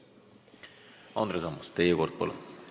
Andres Ammas, teie kord, palun!